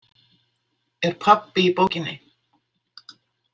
Er pabbi í bókinni?